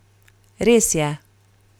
Res je.